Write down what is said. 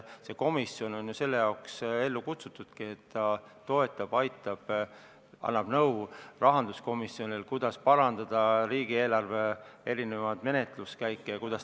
See komisjon on ju selle jaoks ellu kutsutudki, et ta toetab ja aitab rahanduskomisjoni, annab nõu, kuidas parandada riigieelarve menetluskäiku.